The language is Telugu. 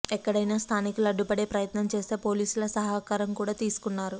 ఎక్కడైనా స్థానికులు అడ్డుపడే ప్రయత్నం చేస్తే పోలీసుల సహకారం కూడా తీసుకున్నారు